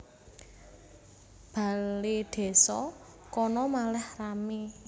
Baledésa kono malih rame